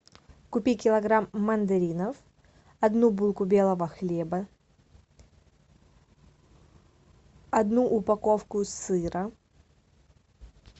купи килограмм мандаринов одну булку белого хлеба одну упаковку сыра